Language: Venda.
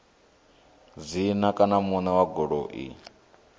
dzina kana muṋe wa goloi